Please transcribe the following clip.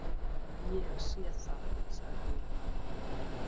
Ég sé það, sagði ég.